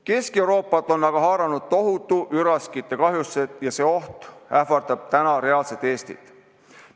Kesk-Euroopat on aga haaranud tohutud üraskite kahjustused ja see oht ähvardab reaalselt ka Eestit.